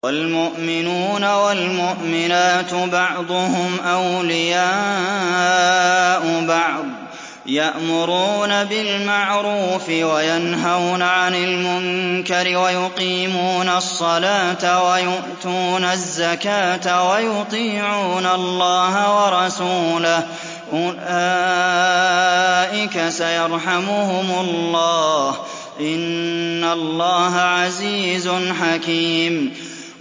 وَالْمُؤْمِنُونَ وَالْمُؤْمِنَاتُ بَعْضُهُمْ أَوْلِيَاءُ بَعْضٍ ۚ يَأْمُرُونَ بِالْمَعْرُوفِ وَيَنْهَوْنَ عَنِ الْمُنكَرِ وَيُقِيمُونَ الصَّلَاةَ وَيُؤْتُونَ الزَّكَاةَ وَيُطِيعُونَ اللَّهَ وَرَسُولَهُ ۚ أُولَٰئِكَ سَيَرْحَمُهُمُ اللَّهُ ۗ إِنَّ اللَّهَ عَزِيزٌ حَكِيمٌ